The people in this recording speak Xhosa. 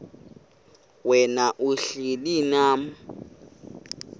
wena uhlel unam